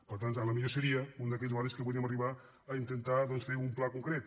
per tant potser seria un d’aquells barris que podríem arribar a intentar doncs fer un pla concret